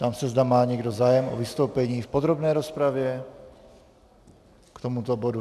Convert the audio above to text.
Ptám se, zda má někdo zájem o vystoupení v podrobné rozpravě k tomuto bodu.